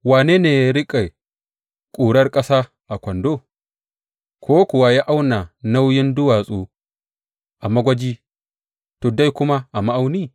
Wane ne ya riƙe ƙurar ƙasa a kwando, ko kuwa ya auna nauyin duwatsu a magwaji, tuddai kuma a ma’auni?